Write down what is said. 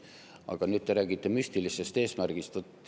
Aga te räägite müstilisest eesmärgist.